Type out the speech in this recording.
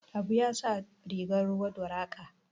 Habu ya sa riga ruwan doraqa